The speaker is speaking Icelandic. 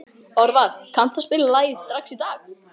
Orvar, kanntu að spila lagið „Strax í dag“?